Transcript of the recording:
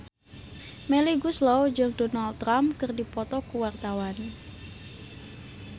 Melly Goeslaw jeung Donald Trump keur dipoto ku wartawan